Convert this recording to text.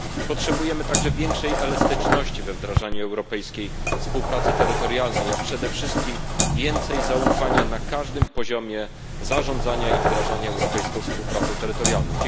Potrzebujemy także większej elastyczności we wdrażaniu europejskiej współpracy terytorialnej, a przede wszystkim więcej zaufania na każdym poziomie zarządzania i wdrażania europejskiej współpracy terytorialnej.